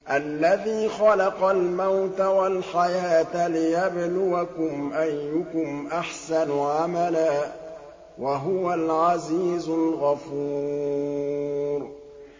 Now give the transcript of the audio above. الَّذِي خَلَقَ الْمَوْتَ وَالْحَيَاةَ لِيَبْلُوَكُمْ أَيُّكُمْ أَحْسَنُ عَمَلًا ۚ وَهُوَ الْعَزِيزُ الْغَفُورُ